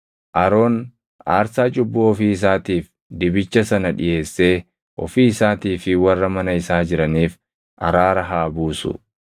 “Aroon aarsaa cubbuu ofii isaatiif dibicha sana dhiʼeessee ofii isaatii fi warra mana isaa jiraniif araara haa buusu.